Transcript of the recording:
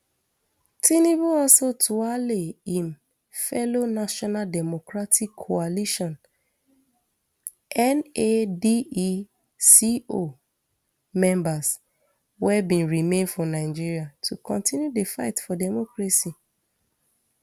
tinubu also tuale im fellow national democratic coalition nadeco members wey bin remain for nigeria to continue di fight for democracy